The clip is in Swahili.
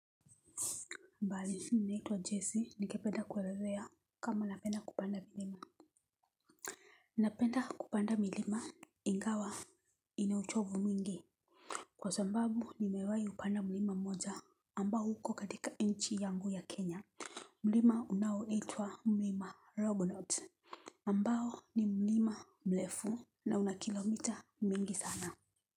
Mbali, naitwa Jesse, nikependa kwelelea kama napenda kupanda milima. Napenda kupanda milima, ingawa, inauchovu mwingi. Kwa sambabu, nimewayi upanda milima moja ambao huko katika inchi yangu ya Kenya. Milima unawo itwa milima rognot. Mbao ni milima mlefu. Na unakilomita mingi sana.